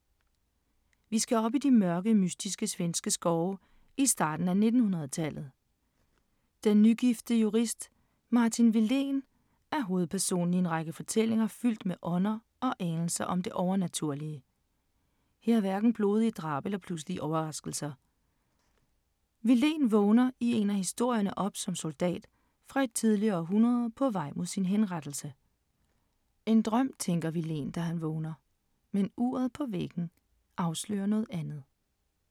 Vi skal op i de mørke, mystiske svenske skove i starten af 1900-tallet. Den ugifte jurist Martin Willén er hovedperson i en række fortællinger fyldt med ånder og anelser om det overnaturlige. Her er hverken blodige drab eller pludselige overraskelser. Willén vågner i en af historierne op som soldat fra et tidligere århundrede på vej mod sin henrettelse. En drøm tænker Willén, da han vågner, men uret på væggen afslører noget andet.